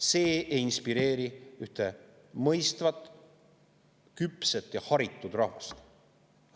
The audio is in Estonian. See ei inspireeri ühte mõistvat, küpset ja haritud rahvast.